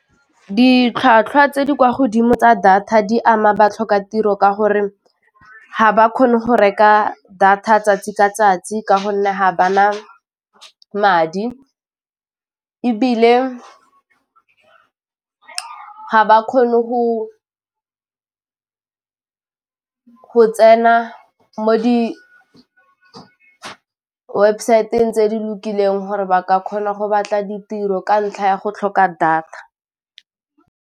Ditlhwatlhwa tse di kwa godimo tsa data di ama ba tlhoka tiro ka gore ga ba kgone go reka data 'tsatsi ka 'tsatsi ka gonne ga ba na madi ebile ga ba kgone go tsena mo di webosaeteng tse di lokileng gore ba ka kgona go batla ditiro ka ntlha ya go tlhoka data.